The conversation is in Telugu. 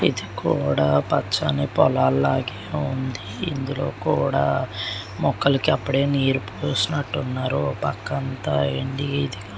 ఇది కూడా పచ్చని పోలల్లాగే ఉంది ఇందులో కూడా మొక్కలకు అప్పుడే నీళ్లు పోసినట్టు ఉన్నారు. ఒక పక్క అంత ఎండి --